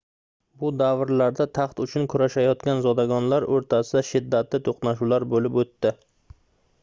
bu davrlarda taxt uchun kurashayotgan zodagonlar oʻrtasida shiddatli toʻqnashuvlar boʻlib oʻtdi